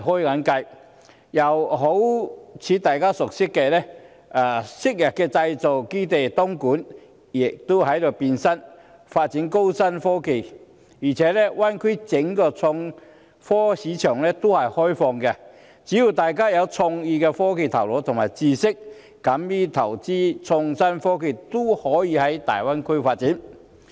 又例如大家所熟悉的東莞，亦正由昔日的製造基地變身發展高新科技，而且，大灣區內整個創科市場都是開放的，只要大家有創意、有科技的頭腦和知識，敢於投資創新科技，均可到大灣區發展。